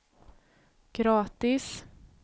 gratis